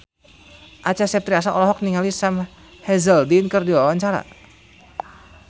Acha Septriasa olohok ningali Sam Hazeldine keur diwawancara